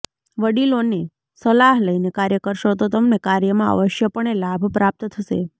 વડીલો ને સલાહ લઈને કાર્ય કરશો તો તમને કાર્ય માં અવશ્યપણે લાભ પ્રાપ્ત થશે